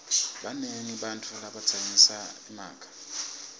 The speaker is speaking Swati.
banengi bantfu labatsengisa emakha